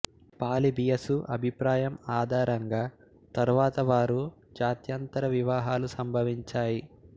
Polybius అభిప్రాయం ఆధారంగా తరువాత వారు జత్యంతర వివాహాలు సంభవించాయి